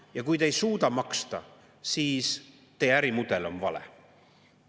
Ja kui te ei suuda maksta, siis teie ärimudel on vale.